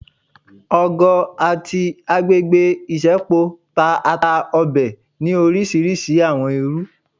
ọgọ ati agbegbe isẹpo ta ata Obe ni orisirisi awọn iru